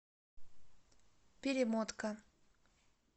перемотка